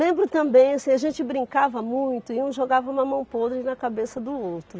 Lembro também, assim, a gente brincava muito e um jogava o mamão podre na cabeça do outro.